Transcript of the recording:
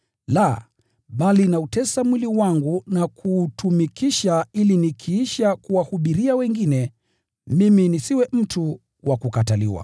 la, bali nautesa mwili wangu na kuutumikisha ili nikiisha kuwahubiria wengine, mimi nisiwe mtu wa kukataliwa.